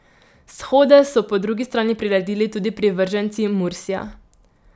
Shode so po drugi strani priredili tudi privrženci Mursija.